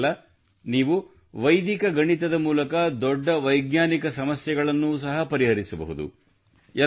ಇಷ್ಟೇ ಅಲ್ಲ ನೀವು ವೈದಿಕ ಗಣಿತದ ಮೂಲಕ ದೊಡ್ಡ ವೈಜ್ಞಾನಿಕ ಸಮಸ್ಯೆಗಳನ್ನು ಸಹ ಪರಿಹರಿಸಬಹುದು